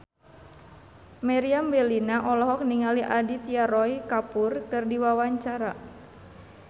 Meriam Bellina olohok ningali Aditya Roy Kapoor keur diwawancara